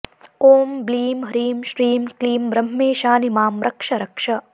ॐ ब्लीं ह्रीं श्रीं क्लीं ब्रह्मेशानि मां रक्ष रक्ष